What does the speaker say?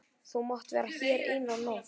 Þú mátt vera hér eina nótt.